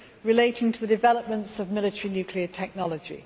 relating to developments of military nuclear technology.